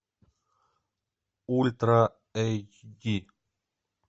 ультра эйч ди